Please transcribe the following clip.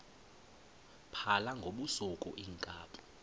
phala ngobusuku iinkabi